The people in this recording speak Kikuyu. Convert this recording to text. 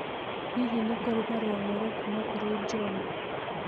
Hihi nĩ kũrĩ marũa merũ kuuma kũrĩ John